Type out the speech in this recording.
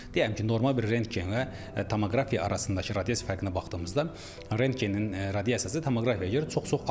Deyirəm ki, normal bir rentgenlə tomoqrafiya arasındakı radiasiya fərqinə baxdığımızda rentgenin radiasiyası tomoqrafiyaya görə çox-çox azdır.